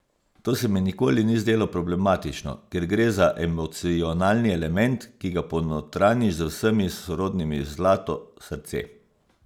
To se mi nikoli ni zdelo problematično, ker gre za emocionalni element, ki ga ponotranjiš z vsemi sorodnimi: "zlato", "srce".